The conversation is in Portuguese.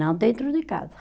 Não dentro de casa.